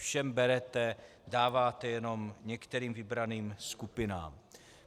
Všem berete, dáváte jenom některým vybraným skupinám.